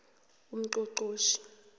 ungqongqotjhe